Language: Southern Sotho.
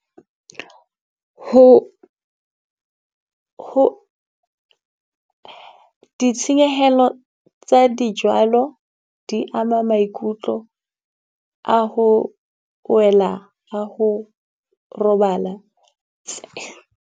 Ho ho ditshenyehelo tsa di jwalo di ama maikutlo a ho wela ha ho robala.